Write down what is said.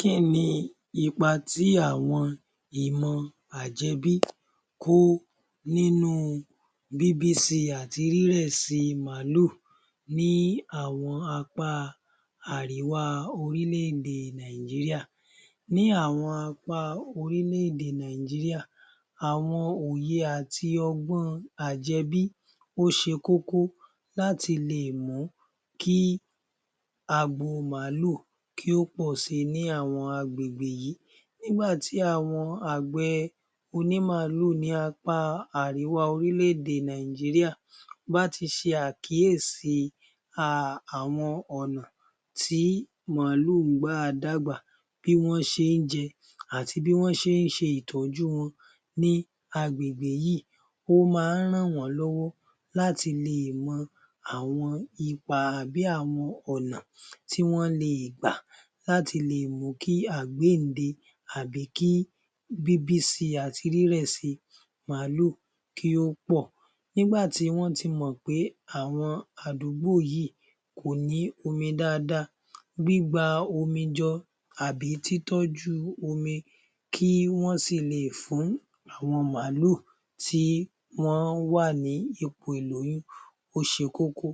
Kí ni ipa tí àwọn ìmọ̀ àjẹbí ń kó nínú bíbí si àti rírẹ̀si Máàlù ní àwọn apá àríwá orílẹ̀-èdè Nàìjíríà? Ní àwọn apá orílẹ̀-èdè Nàìjíríà àwọn òye àti ọgbọ́n àjẹbí ó ṣe kókó láti lè mú kí agbo Máàlù pọ̀si ní àwọn àgbègbè yìí.. Nígbà tí àwọn àgbẹ̀ oní Máàlù ní apá àríwá orílẹ̀-èdè Nàìjíríà bá ti ṣe àkíyèsí àwọn ọ̀nà tí Máàlù ń gbà dàgbà, bí wọ́n ṣe ń jẹ àti bí wọ́n ṣe ń ṣètọ́jú wọn ní àgbègbè yìí, ó máa ń ràn wọ́n lọ́wọ́ láti lè mọ àwọn ipa tàbí àwọn ọ̀nà tí wọ́n le gbà láti lè mú kí àgbéǹde àbí kí bíbísi àti rírẹ̀ si Máàlù kí ó pọ̀, nígbà tí wọ́n ti mọ̀ pé àwọn àdúgbò yìí kò ní omi dáadáa gbígbà omi jọ tàbí tí tọ́jú omi kí wọ́n sì leè fún àwọn Máàlù tí wọ́n wà ní ipò ìlóyún ó ṣe kókó.